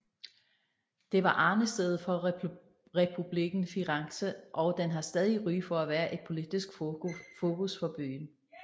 Det var arnestedet for Republikken Firenze og den har stadig ry for at være et politisk fokus for byen